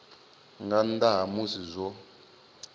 nga nnḓa ha musi zwo